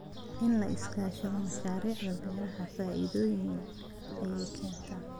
In la iska kaashado mashaariicda beeraha faa�iidooyin ayaa keena.